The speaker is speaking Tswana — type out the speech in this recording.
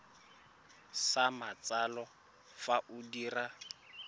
sa matsalo fa o dira